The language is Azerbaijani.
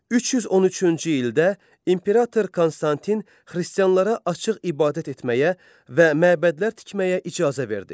313-cü ildə imperator Konstantin xristianlara açıq ibadət etməyə və məbədlər tikməyə icazə verdi.